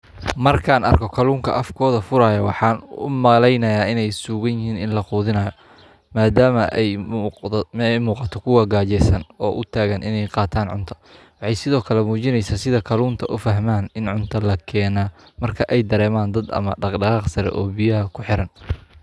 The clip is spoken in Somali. Markaan arko kalunka afgooda furaaya waxaay sugayaan in la quudiyo waxaay mujineyso sida aay udareeman in laquudin rabo marki aay arkaan daqdaqaaq dadka biyaha sare saaran.